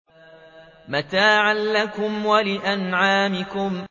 مَّتَاعًا لَّكُمْ وَلِأَنْعَامِكُمْ